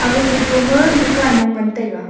ag photo ma dukan mong ngan taiga.